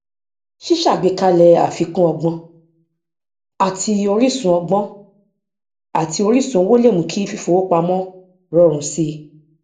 ṣíṣàgbékalẹ àfikún ọgbọn àti oríṣun ọgbọn àti oríṣun owó lè mú kí fífowópamọ rọrùn sí i